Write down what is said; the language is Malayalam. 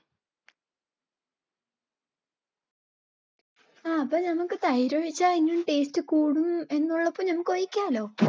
ആ അപ്പ നമുക്ക് തൈരൊഴിച്ച ഇനിയും taste കൂടും എന്നുള്ളപ്പോൾ നമുക്ക് ഒഴിക്കാലോ